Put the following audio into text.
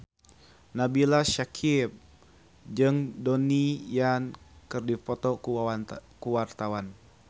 Nabila Syakieb jeung Donnie Yan keur dipoto ku wartawan